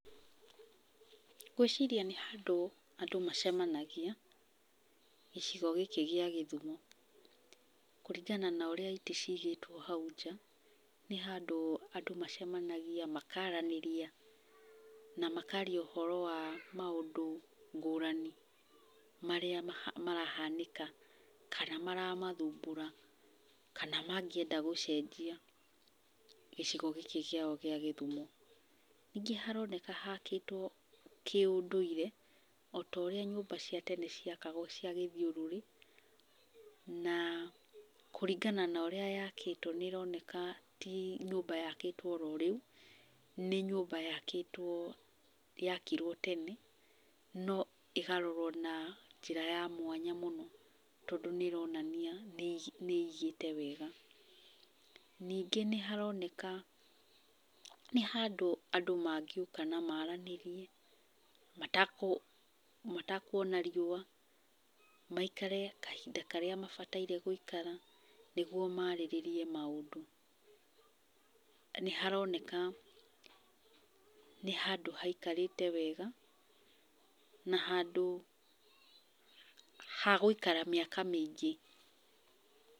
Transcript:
Ngwĩciria nĩ handũ andũ macemanagia, gĩcigo gĩkĩ gĩa Gĩthumo. Kũringana na ũrĩa itĩ ciigĩtwo hau nja, nĩ handũ andũ macemanagia, makaranĩria, na makaria ũhoro wa maũndũ ngũrani marĩa marahanĩka kana maramathumbũra, kana mangĩenda gũcenjia gĩcigo gĩkĩ kĩao kĩa Gĩthumo. Ningĩ haroneka hakĩtwo kĩũndũire, o ta ũrĩa nyũmba cia tene ciakagwo cia gĩthiũrũrĩ, na kũringana na ũrĩa yakĩtwo nĩ ĩroneka ti nyũmba yakĩtwo oro rĩu, nĩ nyũmba yakĩtwo yakirwo tene, no ĩkarorwo na njĩra ya mwanya mũno tondũ nĩ ĩronania nĩ nĩ ĩigĩte wega. Ningĩ nĩ haroneka nĩ handũ andũ mangĩũka na maranĩrie, matakuona riũa, maikare kahinda karĩa mabataire gũikara, nĩguo marĩrĩrie maũndũ. Nĩ haroneka nĩ handũ haikarĩte wega, na handũ ha gũikara mĩaka mĩingĩ.